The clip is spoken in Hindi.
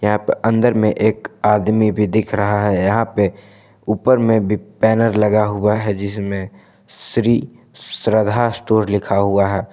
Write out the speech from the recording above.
यहां प अंदर में एक आदमी भी दिख रहा है यहां पे ऊपर में भी बैनर लगा हुआ है जिसमे श्री श्रद्धा स्टोर लिखा हुआ है।